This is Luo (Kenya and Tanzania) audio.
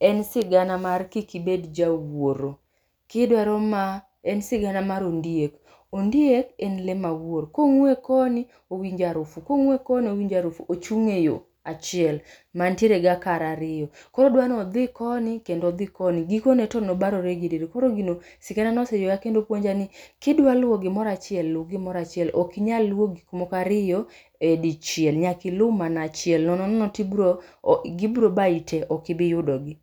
en sigana mar kikibed jawuoro. Kidwaro ma en sigana mar ondiek, ondiek en le ma wuor. Kong'we koni, owinjarufu, kong'we koni owinjarufu. Ochung'e yo achiel mantiere gi akara ariyo, koro odwanodhi koni kendo odhi koni. Gikone to nobarore gi e diere. Koro gino siganano oseywaya kendo puonja ni kidwa luwo gimorachiel, lu gimorachiel, okinyal luwo gik mokariyo e dichiel. Nyaki lu mana achiel, nono nono to gibro bayi te okibi yudogi.